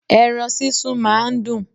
Ẹran sísun má a ndùn